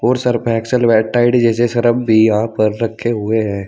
और Surf Excel व Tide जैसे सरफ़ भी यहां पर रखे हुए हैं।